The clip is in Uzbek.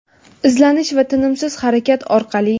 Izlanish va tinimsiz harakat orqali.